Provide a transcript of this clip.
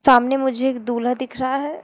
सामने मुझे एक दूल्हा दिख रहा है।